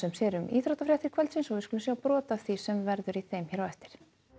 sér um íþróttafréttir kvöldsins við skulum sjá brot af því sem verður í þeim hér á eftir